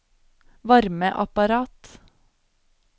varmeapparat